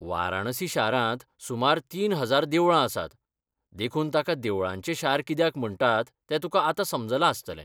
वाराणसी शारांत सुमार तीन हजार देवळां आसात, देखून ताका 'देवळांचें शार' कित्याक म्हणटात तें तुका आतां समजलां आसतलें.